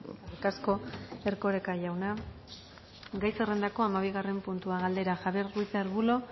eskerrik asko erkoreko jauna gai zerrendako hamabigarren puntua galdera javier ruiz de arbulo